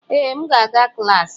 Ee, m ga-aga klas.